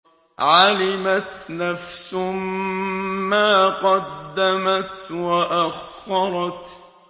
عَلِمَتْ نَفْسٌ مَّا قَدَّمَتْ وَأَخَّرَتْ